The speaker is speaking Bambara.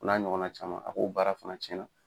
O n'a ɲɔgɔna caman a ko baara fana cɛna